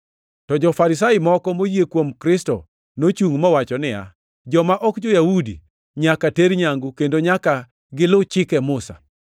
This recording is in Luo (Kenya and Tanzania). To jo-Farisai moko moyie kuom Kristo nochungʼ mowacho niya, “Joma ok jo-Yahudi nyaka ter nyangu kendo nyaka gilu chike Musa.”